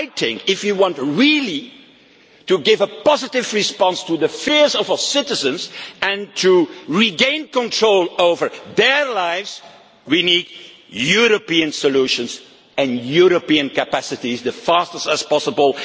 I think, if you really want to give a positive response to the fears of our citizens and to regain control over their lives, we need European solutions and European capacities as soon as possible.